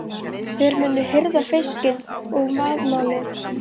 Þeir munu hirða fiskinn og vaðmálið.